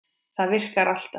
Það virkar alltaf.